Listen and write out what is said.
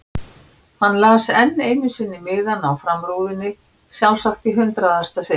Hann las enn einu sinni miðann á framrúðunni, sjálfsagt í hundraðasta sinn.